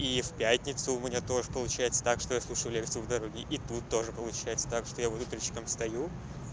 и в пятницу у меня тоже получается так что я слушаю лекцию в дороге и тут тоже получается так что я вот утречком встаю